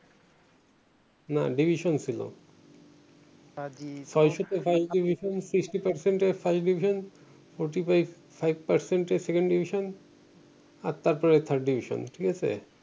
না ডিভিশন ছিল ছয়শতে FIRST DIVISION SIXTY PERCENT FIRST DIVISION SECOND DIVISION AT FORTY-FIVE PER CENT আর তারপরে THIRD DIVISION ঠিকাছে